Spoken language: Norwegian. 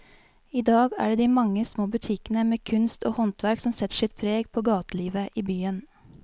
I dag er det de mange små butikkene med kunst og håndverk som setter sitt preg på gatelivet i byen.